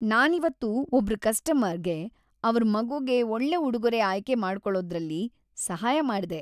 ನಾನಿವತ್ತು ಒಬ್ರು ಕಸ್ಟಮರ್‌‌ಗೆ ಅವ್ರ್ ಮಗುಗೆ ಒಳ್ಳೆ ಉಡುಗೊರೆ ಆಯ್ಕೆ ಮಾಡ್ಕೊಳೋದ್ರಲ್ಲಿ ಸಹಾಯ ಮಾಡ್ದೆ.